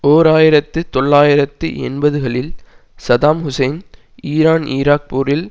ஓர் ஆயிரத்தி தொள்ளாயிரத்து எண்பதுகளில் சதாம் ஹூசேன் ஈரான்ஈராக் போரில்